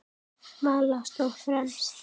Vala stóð fremst.